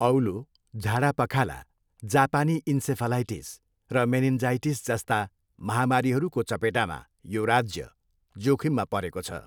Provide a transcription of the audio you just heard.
औलो, झाडापखाला, जापानी इन्सेफलाइटिस र मेनिन्जाइटिस जस्ता महामारीहरूको चपेटामा यो राज्य जोखिममा परेको छ।